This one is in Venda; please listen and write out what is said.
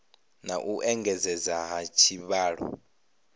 na u engedzedzea ha tshivhalo